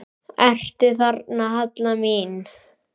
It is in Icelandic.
Ertu þarna, Halla mín?